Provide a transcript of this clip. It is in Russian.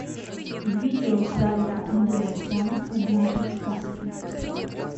видео сарика андреасяна однажды в сказке